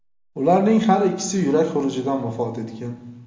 Ularning har ikkisi yurak xurujidan vafot etgan.